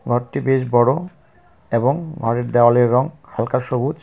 ঘরটি বেশ বড় এবং হল দেয়ালের রং হালকা সবুজ.